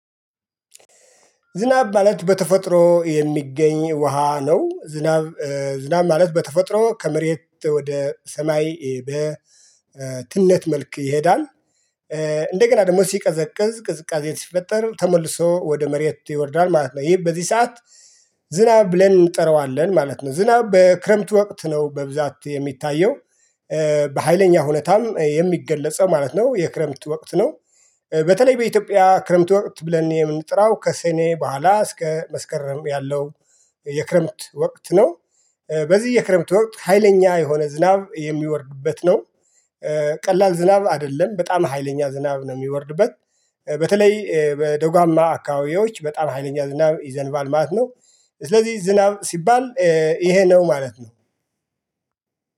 ዝናብ ማለት በተፈጥሮ የሚገኝ ውሃ ነው ዝናብ ዝናብ ማለት በተፈጥሮ ከመሬት ወደ ሰማይ በትነት መልክ ይሄዳል። እንደገና ደግሞ ሲቀዘቅዝ ቅዝቃዜ ሲፈጠር ተመልሶ ወደ መሬት ይወርዳል ማለት ነው ይሄ በዚህ ሰዓት። ዝናብ ብለን እንጠራዋለን ማለት ነው ዝናብ በክረምት ወቅት ነው በብዛት የሚታየው። በሃይለኛ ሁኔታም የሚገለጸው ማለት ነው። የክረምት ወቅት ነው። በተለይ በኢትዮጵያ ክረምት ወቅት ብለን የምንጠራው ከሰኔ በኋላ እስከ መስከረም ያለው። የክረምት ወቅት ነው። በዚህ የክረምት ወቅት ሀይለኛ የሆነ ዝናብ የሚወርድበት ነው። ቀላል ዝናብ አደለም በጣም ሀይለኛ ዝናብ ነው ሚወርድበት። በተለይ በደጓማ አካባቢዎች በጣም ሀይለኛ ዝናብ ይዘንባል ማለት ነው። ስለዚህ ዝናብ ሲባል እሄ ነው ማለት ነው።